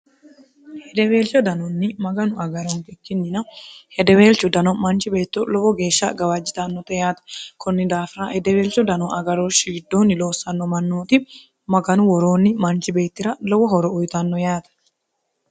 hedeweelcho danonni maganu agaronke kkinnina hedeweelcho dano manchi beetto lowo geeshsha gawaajjitannote yaate kunni daafira hedeweelcho dano agaroo shiddoonni loossanno mannooti maganu woroonni manchi beettira lowo horo uyitanno yaate